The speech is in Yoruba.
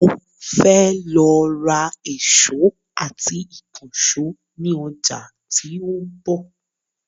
Mo fẹ́ lọ ra èsó àti ìkànsó ni ọjà tí òun bò